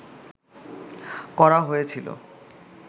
করা হয়েছিল